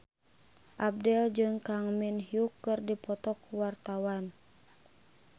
Abdel jeung Kang Min Hyuk keur dipoto ku wartawan